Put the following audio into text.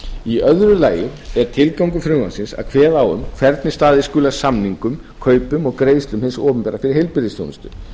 í öðru lagi er tilgangur frumvarpsins að kveða á um hvernig staðið skuli að samningum kaupum og greiðslum hins opinbera fyrir heilbrigðisþjónustu